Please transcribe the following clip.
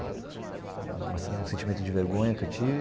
Uma um sentimento de vergonha que eu tive.